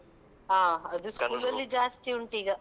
ಹಾ, ಅದು school ಅಲ್ಲಿ ಜಾಸ್ತಿ ಉಂಟು ಈಗ.